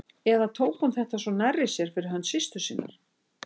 Eða tók hún þetta svona nærri sér fyrir hönd systur sinnar?